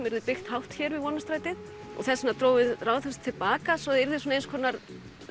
yrði byggt hátt hér við Vonarstræti þess vegna drógum við Ráðhúsið til baka svo það yrði eins konar